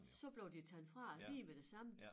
Så blev de taget fra dem lige med det samme